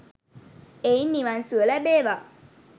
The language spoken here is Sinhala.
එයින් නිවන් සුව ලැබේවා,